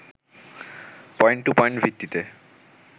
point-to-point ভিত্তিতে